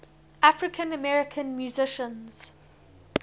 african american musicians